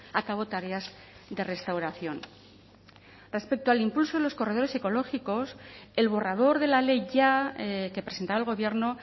a cabo tareas de restauración respecto al impulso de los corredores ecológicos el borrador de la ley ya que presentaba el gobierno